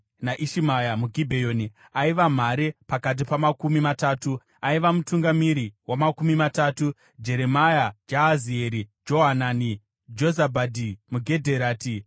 naIshimaya muGibheoni, aiva mhare pakati paMakumi Matatu; aiva mutungamiri waMakumi Matatu; Jeremia, Jahazieri, Johanani; Jozabadhi muGedherati,